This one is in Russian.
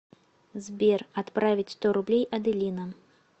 сбер отправить сто рублей аделина